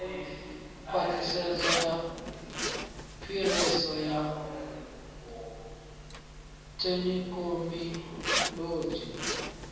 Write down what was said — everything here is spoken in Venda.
khwaṱhisedzo ya phiriso ya thekinolodzhi